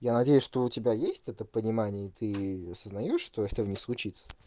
я надеюсь что у тебя есть это понимание и ты осознаёшь что этого не случится